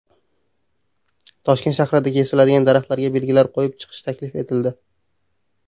Toshkent shahrida kesiladigan daraxtlarga belgilar qo‘yib chiqish taklif etildi.